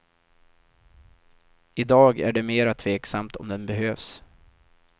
I dag är det mera tveksamt om den behövs.